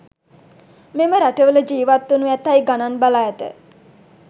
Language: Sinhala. මෙම රටවල ජිවත් වනු ඇතැයි ගණන් බලා ඇත